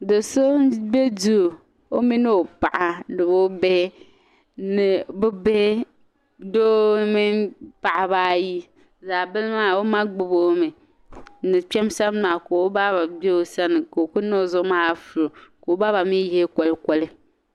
Do' so m-be duu o mini o paɣa ni bɛ bihi. Doo mini paɣiba ayi zaɣ' bila maa o ma gbibi o mi ni kpɛma sani maa ka o ba be o sani ka o ku niŋ o zuɣu maa afuro ka o ba mi pini kolikoli.